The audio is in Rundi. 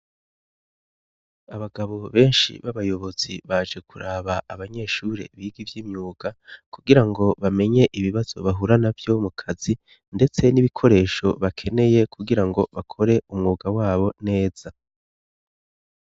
Abagabo benshi b'abayobotsi baje kuraba abanyeshure biga ivyo imyuka kugira ngo bamenye ibibazo bahurana vyo mu kazi, ndetse n'ibikoresho bakeneye kugira ngo bakore umwuga wabo neza.